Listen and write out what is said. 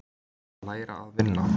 Að læra að vinna